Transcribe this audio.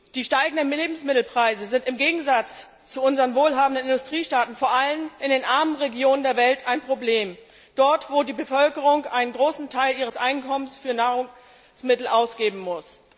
Die steigenden Lebensmittelpreise sind im Gegensatz zu unseren wohlhabenden Industriestaaten vor allem in den armen Regionen der Welt ein Problem dort, wo die Bevölkerung einen großen Teil ihres Einkommens für Nahrungsmittel ausgeben muss.